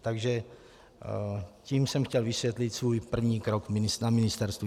Takže tím jsem chtěl vysvětlit svůj první krok na ministerstvu.